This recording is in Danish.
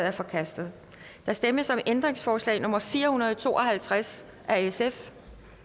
er forkastet der stemmes om ændringsforslag nummer fire hundrede og to og halvtreds af sf